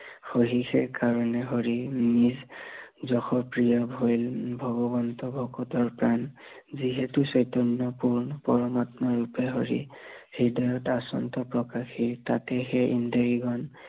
সহিয়ে কাৰনে হৰি, নিজ যশ ক্ৰীয়া ভৈৱ ভগৱন্ত ভকতৰ প্ৰাণ, যিহেতু চৈতন্য় পূৰ্ণ পৰম আত্মা ৰূপে হৰি, হৃদয়ত আচন্ত্য় প্ৰকাশি, তাত সেই ইন্দ্ৰিয়গণ